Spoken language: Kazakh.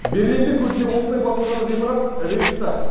берлинде көзге оттай басылған ғимарат рейхстаг